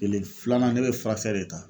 Kelen filanan ne bɛ furakɛli de ta.